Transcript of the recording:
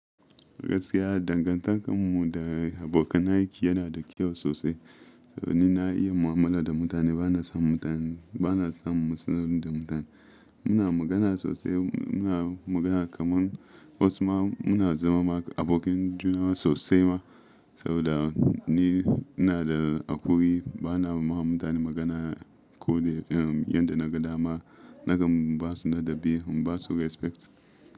Gaskiya dangantakar mu da abokanan aiki yana da kyau sosai. Saboda ni na iya mu'amala da mutane bana son mutane, bana samun matsaloli da mutane. Muna magana sosai, muna magana kaman wasu ma muna zama ma abokan juna sosai ma. Saboda ni ina da hakuri bana ma mutane magana ko de yanda na ga dama nakan basu ladabi, in basu respect.